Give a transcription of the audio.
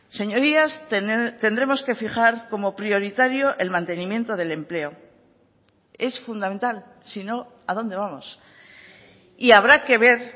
señorías tendremos que fijar como prioritario el mantenimiento del empleo es fundamental si no a dónde vamos y habrá que ver